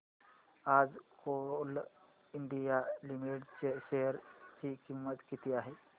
आज Coal India Limited च्या share ची किंमत किती आहे